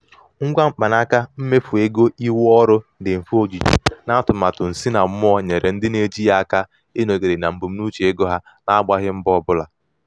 ngwa mkpanaka mmefu ego ihu ọrụ dị mfe ojiji na atụmatụ nsinammụọ nyere ndị na-eji ya aka ịnọgide na mbunuche ego ha na-agbaghị mbọ ọbụla.